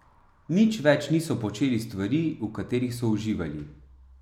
Nič več niso počeli stvari, v katerih so uživali.